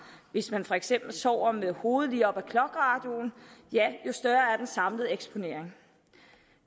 hvis man for eksempel sover med hovedet lige op af clockradioen jo større er den samlede eksponering